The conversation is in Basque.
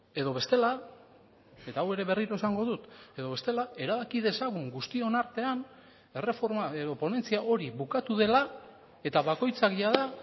edo bestela eta hau ere berriro esango dut edo bestela erabaki dezagun guztion artean erreforma edo ponentzia hori bukatu dela eta bakoitzak jada